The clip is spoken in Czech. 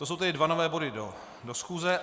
To jsou ty dva nové body do schůze.